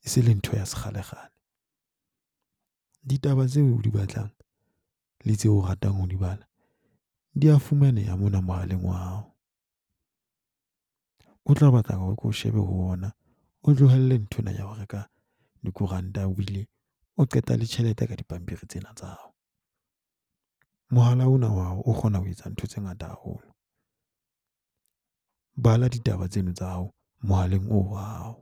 e se le ntho ya sekgalekgale. Ditaba tseo o di batlang le tseo o ratang ho di bala di a fumaneha mona mohaleng wa hao. Ho tla batla o shebe ho ona, o tlohelle nthwena ya ho reka dikoranta. Ebile o qeta le tjhelete ka dipampiri tsena tsa hao. Mohala ona wa hao o kgona ho etsa ntho tse ngata haholo. Bala ditaba tseno tsa hao mohaleng wa hao.